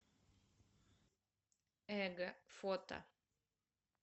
эго фото